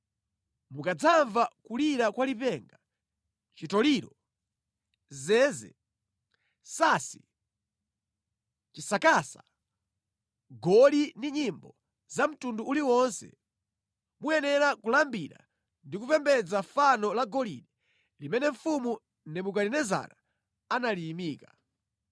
mukadzamva kulira kwa lipenga, chitoliro, zeze, sansi, chisakasa, mngoli ndi nyimbo za mtundu uliwonse, muyenera kulambira ndi kupembedza fano la golide limene mfumu Nebukadinezara analiyimika.